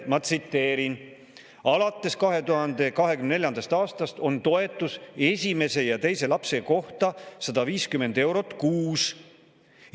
Ma tsiteerin: "Alates 2024. aastast on toetus esimese ja teise lapse kohta 150 eurot kuus.